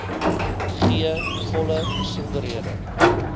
gee volle besonderhede